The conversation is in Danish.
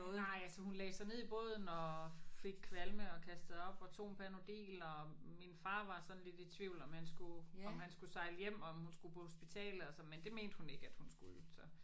Nej altså hun lagde sig ned i båden og fik kvalme og kastede op og tog en Panodil og min far var sådan lidt i tvivl om han skulle om han skulle sejle hjem og om hun skulle på hospitalet og så men det mente hun ikke at hun skulle så